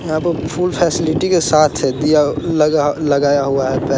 यहाँ पे full facility के साथ है दिया लगा-लगाया हुआ है।